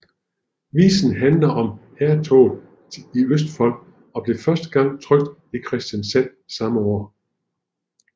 Visen handler om hærtoget i Østfold og blev første gang trykket i Kristiansand samme år